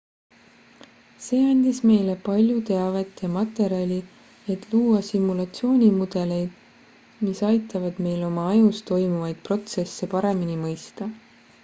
see andis meile palju teavet ja materjali et luua simulatsioonimudeleid mis aitavad meil oma ajus toimuvaid protsesse paremini mõista